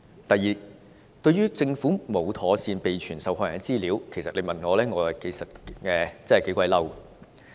第二，對於政府沒有妥善備存受害人的資料，如果問我，我是頗憤怒的。